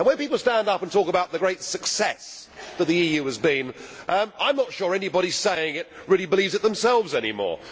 When people stand up and talk about the great success that the EU has been, I am not sure anybody saying it really believes it themselves anymore.